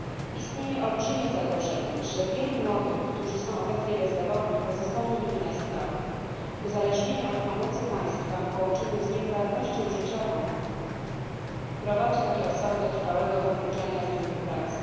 Istnieje olbrzymie zagrożenie, że wielu młodych, którzy są obecnie bezrobotni, pozostanie nimi na stałe. Uzależnienie od pomocy państwa w połączeniu z nieporadnością życiową prowadzi takie osoby do trwałego wykluczenia z rynku pracy.